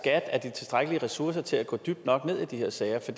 er de tilstrækkelige ressourcer til at gå dybt nok ned i de her sager